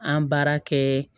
An baara kɛ